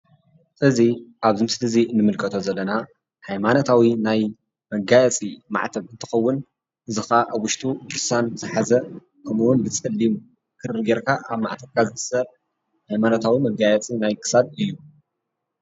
እዚ ኣብዚ ምስሊ እዚ ንምልከቶ ዘለና ሃይማኖታዊ ናይ መጋየጺ ማዕተብ እንትከውን እዚ ከኣ ኣብ ውሽጡ ድርሳን ዝሓዘ ከምኡ ውን ብ ጸሊም ክሪ ጌርካ ኣብ ማዕተብካ ዝእሰር ሃይማኖታዊ መጋየጺ ናይ ክሳድ እዩ።